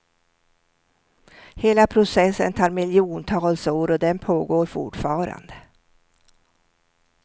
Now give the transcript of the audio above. Hela processen tar miljontals år och den pågår fortfarande.